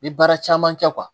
N ye baara caman kɛ